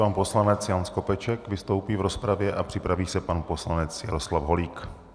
Pan poslanec Jan Skopeček vystoupí v rozpravě a připraví se pan poslanec Jaroslav Holík.